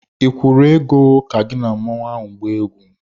Ị kwụrụ ego ka gị na mmọnwụ gbaa egwu?